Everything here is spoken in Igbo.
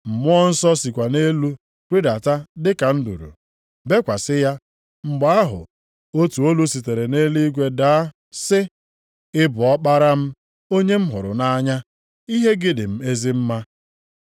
Mmụọ Nsọ sikwa nʼelu rịdata dị ka nduru, bekwasị ya, mgbe ahụ, otu olu sitere nʼeluigwe daa sị, “Ị bụ Ọkpara m, onye m hụrụ nʼanya, ihe gị dị m ezi mma.”